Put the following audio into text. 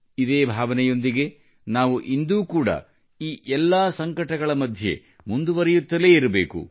ಇದೇ ಭಾವನೆಯೊಂದಿಗೆ ನಾವು ಇಂದೂ ಕೂಡ ಈ ಎಲ್ಲಾ ಸಂಕಟಗಳ ಮಧ್ಯೆ ಮುಂದುವರೆಯುತ್ತಲೇ ಇರಬೇಕು